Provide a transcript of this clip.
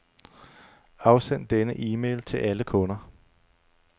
Afsend denne e-mail til alle kunder.